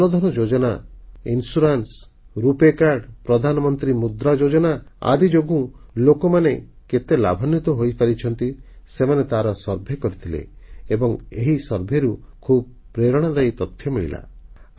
ଜନଧନ ଯୋଜନା ବୀମା ସୁରକ୍ଷା ରୁପେ କାର୍ଡ ପ୍ରଧାନମନ୍ତ୍ରୀ ମୁଦ୍ରା ଯୋଜନା ଆଦି ଯୋଗୁଁ ଲୋକମାନେ କେତେ ଲାଭାନ୍ୱିତ ହୋଇପାରିଛନ୍ତି ସେମାନେ ତାର ସର୍ଭେ କରିଥିଲେ ଏବଂ ଏହି ସର୍ଭେରୁ ଖୁବ୍ ପ୍ରେରଣାଦାୟୀ ତଥ୍ୟ ମିଳିଲା